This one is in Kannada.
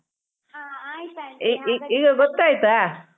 ಹಾ ಆಯ್ತ್ ಆಂಟಿ ಹಾಗಾದ್ರೆ.